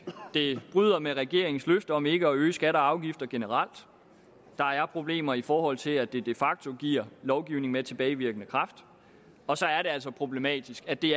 det bryder med regeringens løfte om ikke at øge skatter og afgifter generelt der er problemer i forhold til at det de facto giver lovgivning med tilbagevirkende kraft og så er det altså problematisk at det